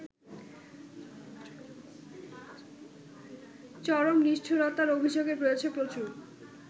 চরম নিষ্ঠুরতার অভিযোগ রয়েছে প্রচুর